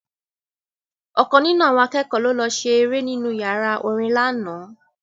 Ọ̀kan nínú àwọn akẹ́kọ̀ọ́ ló lọ ṣe eré nínú yàrá orin lánàá